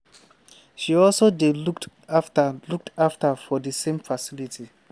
she also dey looked afta looked afta for di same facility.